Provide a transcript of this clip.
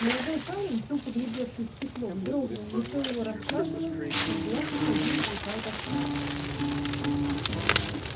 молодой парень тупо глядевший в стекло вздрогнул лицо его расслабилось из глаз уходила глухая тоска